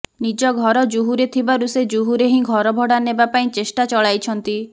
ନିଜ ଘର ଜୁହୁରେ ଥିବାରୁ ସେ ଜୁହୁରେ ହିଁ ଭଡ଼ା ଘର ନେବା ପାଇଁ ଚେଷ୍ଟା ଚଳାଇଛନ୍ତି